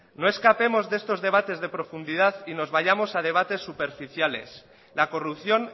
no escapemos de estos debates de profundidad y nos vayamos a debates superficiales la corrupción